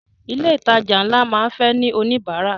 Ilé ìtajà ńlá máa ń fẹ́ ní oníbárà.